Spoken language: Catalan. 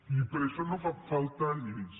i per això no fan falta lleis